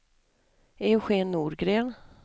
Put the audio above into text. Eugén Norgren